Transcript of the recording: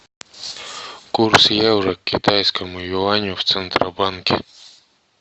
курс евро к китайскому юаню в центробанке